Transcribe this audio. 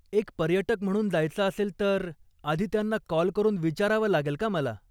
एक पर्यटक म्हणून जायचं असेल तर आधी त्यांना कॉल करून विचारावं लागेल का मला?